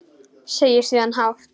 Segir síðan hátt: